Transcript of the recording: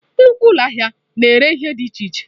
Nnukwu ụlọ ahịa na-ere ihe dị iche iche.